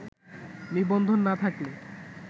নিবন্ধন না থাকলে